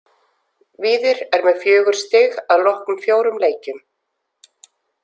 Víðir er með fjögur stig að loknum fjórum leikjum.